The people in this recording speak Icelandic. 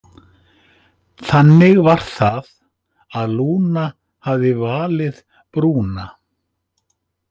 Þannig var það og Lúna hafði valið Brúnan.